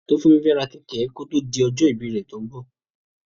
Tófúnmi fẹ́ ra kẹ̀kẹ́ kó tó di ọjọ́ ìbí rẹ̀ tó ń bọ̀.